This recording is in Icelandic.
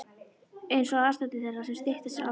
einsog aðstandendur þeirra sem stytta sér aldur.